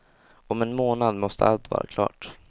Om en månad måste allt vara klart.